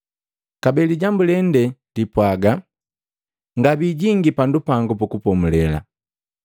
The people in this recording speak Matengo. Kabee lijambu lende lipwaga: “Ngabiijingi pandu pangu pukupomule.”